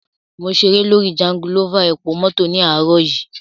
Mo ṣeré lórí jangulọ́fà epomọ́tọ̀ ní àárò yìí.